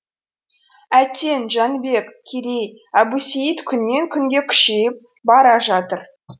әттең жәнібек керей әбусейіт күннен күнге күшейіп бара жатыр